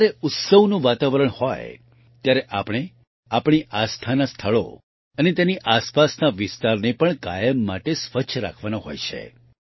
અને જ્યારે ઉત્સવનું વાતાવરણ હોય ત્યારે આપણે આપણી આસ્થાના સ્થળો અને તેની આસપાસના વિસ્તારને પણ કાયમ માટે સ્વચ્છ રાખવાના હોય છે